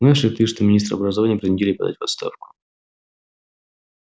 знаешь ли ты что министра образования принудили подать в отставку